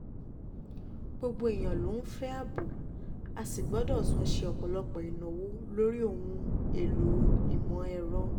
gbogbo um èèyàn ló ń fẹ́ ààbò a sì gbọ́dọ̀ tún ṣe um ọ̀pọ̀lọpọ̀ ìnáwó lórí ohun èèlò ìmọ̀ ẹ̀rọ